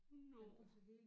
Nåh